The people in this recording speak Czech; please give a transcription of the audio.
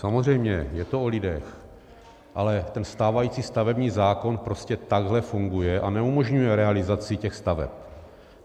Samozřejmě je to o lidech, ale ten stávající stavební zákon prostě takhle funguje a neumožňuje realizaci těch staveb.